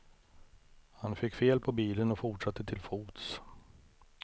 Han fick fel på bilen och fortsatte till fots.